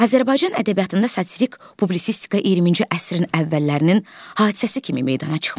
Azərbaycan ədəbiyyatında satirik publisistika 20-ci əsrin əvvəllərinin hadisəsi kimi meydana çıxmışdı.